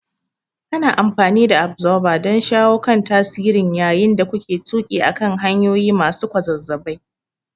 Ana amfani da Absorber don shawo kan tasirin yayin da kuke tuƙi akan hanyoyi masu kwazazzabai.